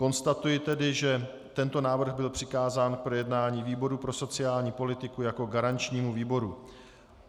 Konstatuji tedy, že tento návrh byl přikázán k projednání výboru pro sociální politiku jako garančnímu výboru.